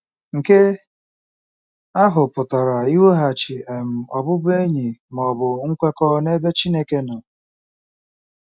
Nke ahụ pụtara iweghachi um ọbụbụenyi ma ọ bụ nkwekọ n'ebe Chineke nọ..